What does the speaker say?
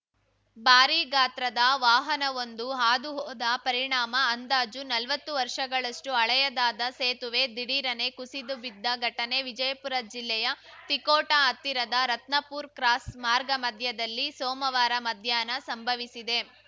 ಭಾರೀ ಗಾತ್ರದ ವಾಹನವೊಂದು ಹಾದುಹೋದ ಪರಿಣಾಮ ಅಂದಾಜು ನಲ್ವತ್ತು ವರ್ಷಗಳಷ್ಟುಹಳೆಯದಾದ ಸೇತುವೆ ದಿಢೀರನೆ ಕುಸಿದು ಬಿದ್ದ ಘಟನೆ ವಿಜಯಪುರ ಜಿಲ್ಲೆಯ ತಿಕೋಟಾ ಹತ್ತಿರದ ರತ್ನಾಪೂರ್ ಕ್ರಾಸ್‌ ಮಾರ್ಗ ಮಧ್ಯದಲ್ಲಿ ಸೋಮವಾರ ಮಧ್ಯಾಹ್ನ ಸಂಭವಿಸಿದೆ